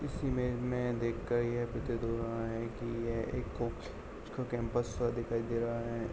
इस इमेज में देख के यह प्रतीत हो रहा है कि यह एक कॉलेज का कैंपस सा दिखाई दे रहा है।